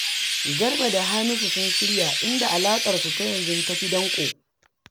Garba da Hamisu sun shirya, inda alaƙarsu ta yanzu ta fi danƙo